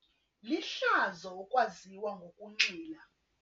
Lihlazo ukwaziwa ngokunxila.